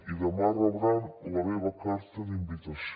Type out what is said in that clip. i demà rebran la meva carta d’invitació